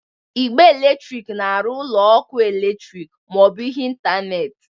Igbe eletrik na-arụ ụlọ ọkụ eletrik ma ọ bụ ihe ntanetị.